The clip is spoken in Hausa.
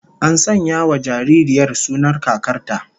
An sanya wa jaririyar sunan kakar ta